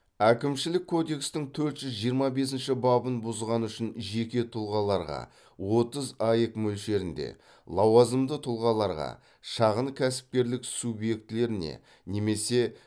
әкімшілік кодекстің төрт жүз жиырма бесінші бабын бұзғаны үшін жеке тұлғаларға отыз аек мөлшерінде лауазымды тұлғаларға шағын кәсіпкерлік субъектілеріне немесе